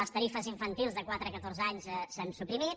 les tarifes infantils de quatre a catorze anys s’han suprimit